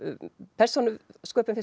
persónusköpun finnst